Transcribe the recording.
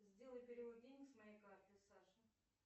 сделай перевод денег с моей карты саше